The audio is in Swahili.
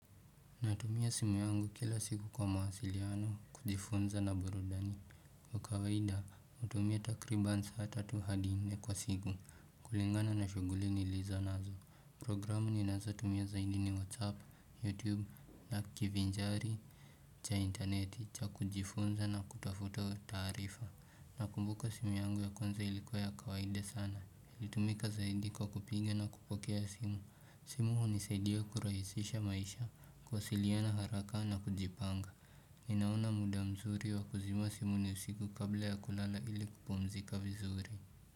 Natumia simu yangu kila siku kwa mawasiliano, kujifunza na burudani. Kwa kawaida, hutumia takribani saa tatu hadi nne kwa siku. Kulingana na shughuli nilizo nazo. Program ninazo tumia zaidi ni WhatsApp, YouTube, na kivinjari, cha internet, cha kujifunza na kutafuta taarifa. Nakumbuka simu yangu ya kwanza ilikuwa ya kawaida sana. Ilitumika zaidi kwa kupiga na kupokea simu. Simu hunisaidia kurahisisha maisha kuwasiliana haraka na kujipanga Ninaona muda mzuri wa kuzima simu ni usiku kabla ya kulala ili kupumzika vizuri.